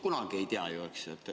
Kunagi ei tea ju, eks.